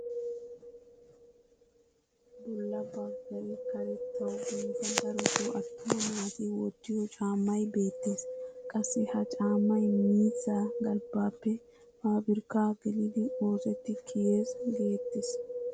Bolla baggay karettawu biida darotoo attuma naati wottiyoo caammay beettees. qassi ha caammay miizzaa galbbaappe pabirkkaa gelidi oosetti kiyees geettees.